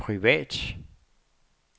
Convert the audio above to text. privat